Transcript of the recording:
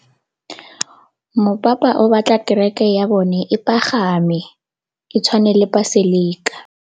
Mopapa o batla kereke ya bone e pagame, e tshwane le paselika.